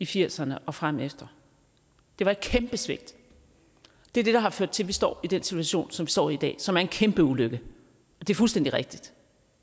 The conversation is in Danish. firserne og frem det var et kæmpe svigt det er det der har ført til at vi står i den situation som vi står i i dag som er en kæmpe ulykke det er fuldstændig rigtigt